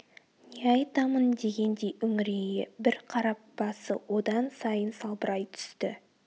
не айтамын дегендей үңірейе бір қарап басы одан сайын салбырай түсті